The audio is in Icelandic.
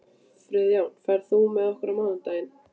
Friðjón, ferð þú með okkur á mánudaginn?